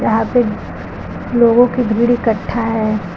यहां पे लोगों की भीड़ इकट्ठा है।